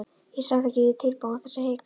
Ég samþykkti því tilboðið án þess að hika.